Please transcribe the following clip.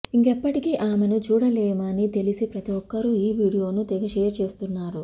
ఇంకెప్పటికీ ఆమెను చూడలేమని తెలిసి ప్రతిఒక్కరు ఈ వీడియోని తెగ షేర్ చేస్తున్నారు